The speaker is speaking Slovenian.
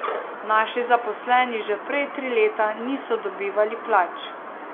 Naši zaposleni že prej tri leta niso dobivali plač.